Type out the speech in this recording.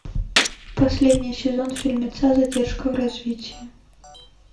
последний сезон фильмеца задержка в развитии